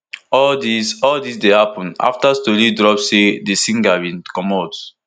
all dis all dis dey happun afta tori drop say di singer bin comot